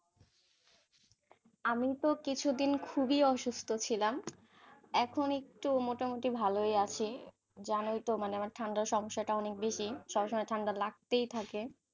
আমি তো কিছুদিন খুবই অসুস্থ ছিলাম, এখন একটু মোটামুটি ভালোই আছি. জানই তো আমার ঠান্ডার সমস্যাটা অনেক বেশি. সবসময় ঠাণ্ডা লাগতেই থাকে.